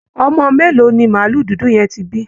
Ọmọ mélòó ni màálù dudu yẹn ti bí?